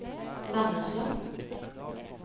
Vennesla